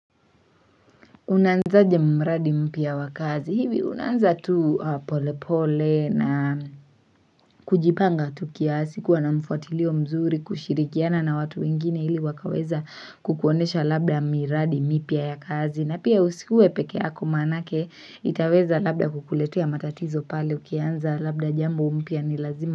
Unanzaje muradi mpia wakazi hivi unanza tu pole pole na kujipanga tu kiasi kuwa na mfuatilio mzuri kushirikiana na watu wengine hili wakaweza kukuonesha labda miradi mipia ya kazi na pia usikue peke yako maanake itaweza labda kukuletea matatizo pale ukianza labda jambo mpia ni lazima.